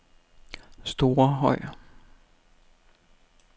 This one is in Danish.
Storehøj